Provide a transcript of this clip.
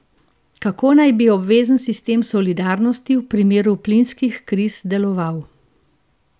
Kako naj bi obvezen sistem solidarnosti v primeru plinskih kriz deloval?